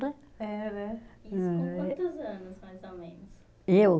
Era. Isso com quantos anos, mais ou menos? Eu?